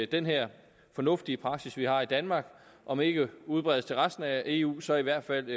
den her fornuftige praksis vi har i danmark om ikke udbredes til resten af eu så i hvert fald